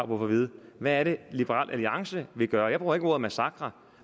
på at vide hvad er det liberal alliance vil gøre jeg bruger ikke ordet massakre